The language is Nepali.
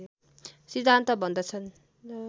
सिद्धान्त भन्दछन्